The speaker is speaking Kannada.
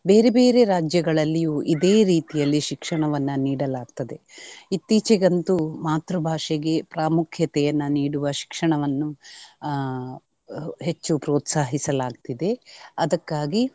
ಬೇರೆ ಬೇರೆ ರಾಜ್ಯಗಳಲ್ಲಿಯು ಇದೆ ರೀತಿಯಲ್ಲಿ ಶಿಕ್ಷಣವನ್ನ ನೀಡಲಾಗ್ತದೆ. ಇತ್ತೀಚೆಗಂತು ಮಾತೃಭಾಷೆಗೆ ಪಾಮುಖ್ಯತೆಯನ್ನ ನೀಡುವ ಶಿಕ್ಷಣವನ್ನು ಆಹ್ ಹೆಚ್ಚು ಪ್ರೋತ್ಸಾಹಿಸಲಾಗ್ತಿದೆ ಅದಕ್ಕಾಗಿ.